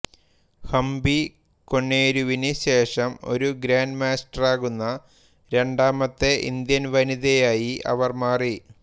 ഹംപി കൊനേരുവിന് ശേഷം ഒരു ഗ്രാൻഡ് മാസ്റ്ററാകുന്ന രണ്ടാമത്തെ ഇന്ത്യൻ വനിതയായി അവർ മാറി